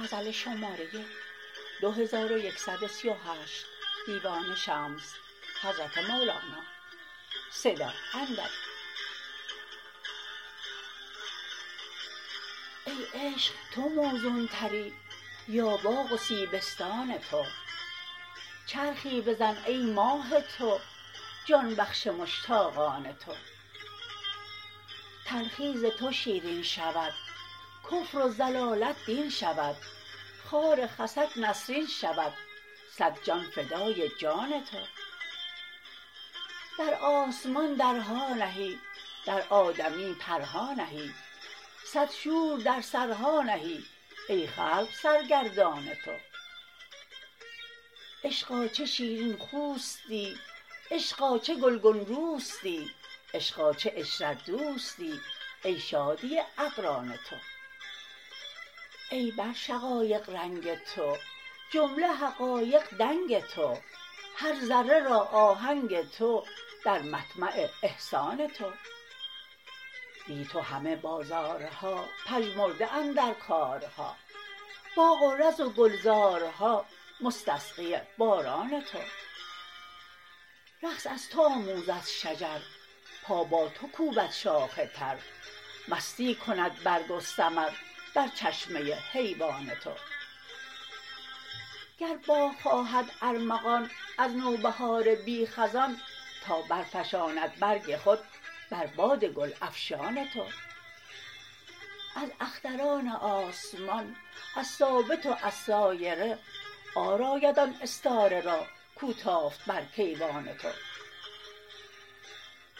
ای عشق تو موزونتری یا باغ و سیبستان تو چرخی بزن ای ماه تو جان بخش مشتاقان تو تلخی ز تو شیرین شود کفر و ضلالت دین شود خار خسک نسرین شود صد جان فدای جان تو در آسمان درها نهی در آدمی پرها نهی صد شور در سرها نهی ای خلق سرگردان تو عشقا چه شیرین خوستی عشقا چه گلگون روستی عشقا چه عشرت دوستی ای شادی اقران تو ای بر شقایق رنگ تو جمله حقایق دنگ تو هر ذره را آهنگ تو در مطمع احسان تو بی تو همه بازارها پژمرده اندر کارها باغ و رز و گلزارها مستسقی باران تو رقص از تو آموزد شجر پا با تو کوبد شاخ تر مستی کند برگ و ثمر بر چشمه حیوان تو گر باغ خواهد ارمغان از نوبهار بی خزان تا برفشاند برگ خود بر باد گل افشان تو از اختران آسمان از ثابت و از سایره عار آید آن استاره را کو تافت بر کیوان تو